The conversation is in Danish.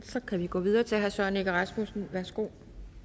så kan vi gå videre til herre søren egge rasmussen værsgo